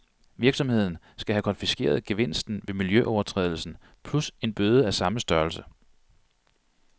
Virksomheden skal have konfiskeret gevinsten ved miljøovertrædelsen plus en bøde af samme størrelse.